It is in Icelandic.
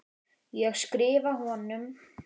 Ég skrifa honum!